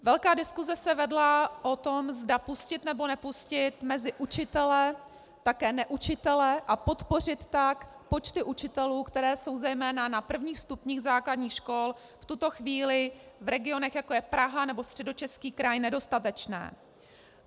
Velká diskuse se vedla o tom, zda pustit, nebo nepustit mezi učitele také neučitele a podpořit tak počty učitelů, které jsou zejména na prvních stupních základních škol v tuto chvíli v regionech, jako je Praha nebo Středočeský kraj, nedostatečné.